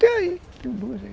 Tem aí, tem duas aí.